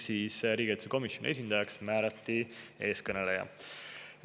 Riigikaitsekomisjoni esindajaks määrati eeskõneleja.